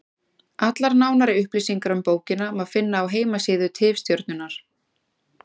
Allar nánari upplýsingar um bókina má finna á heimasíðu Tifstjörnunnar.